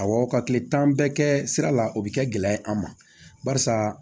Awɔ ka kile tan bɛɛ kɛ sira la o bi kɛ gɛlɛya ye an ma barisa